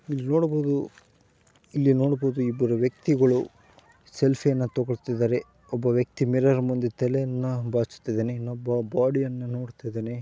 ಇಲ್ಲಿ ನೋಡಬಹುದು ಇಲ್ಲಿ ನೋಡಬಹುದು ಇಬ್ರು ವ್ಯಕ್ತಿಗಳು ಸೆಲ್ಫಿಯನ್ನ ತೊಗೊಳ್ತಾಯಿದಾರೆ ಒಬ್ಬ ವ್ಯಕ್ತಿ ಮಿರರ್ ಮುಂದೆ ತಲೆಯನ್ನ ಬಾಚ್ತಿದನೆ. ಇನ್ನೊಬ್ಬ ಬಾಡಿ ಯನ್ನ ನೋಡ್ತಾ ಇದನೆ.